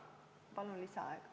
Palun lisaaega!